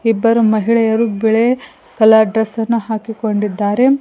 ಇಬ್ಬರು ಮಹಿಳೆಯರು ಬಿಳೆ ಕಲರ್ ಡ್ರೆಸ್ ಅನ್ನು ಹಾಕಿಕೊಂಡಿದ್ದಾರೆ.